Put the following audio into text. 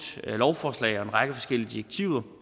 lovforslag og en række forskellige direktiver